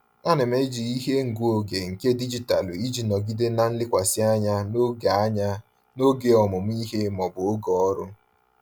Ana m eji ihe ngụ oge nke dijitalụ iji nọgide na nlekwasị anya n'oge anya n'oge ọmụmụ ihe maọbụ n'oge ọrụ.